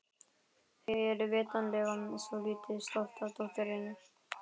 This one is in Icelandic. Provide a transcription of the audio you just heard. Þau eru vitanlega svolítið stolt af dótturinni.